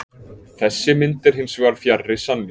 Þessi mynd er hins vegar fjarri sanni.